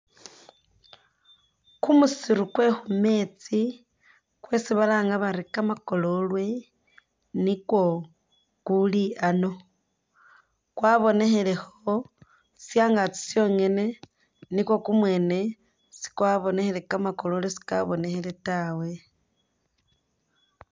Kumusiru kwekhumeetsi kwesi balanga bari kamakololwe nikwo kuli a'ano kwabonekhelekho shangaki shongene nikwo kumwene sikwabonekhele kamakololwe sikabonekhele tawe